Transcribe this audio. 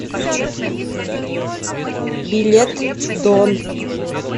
билет дон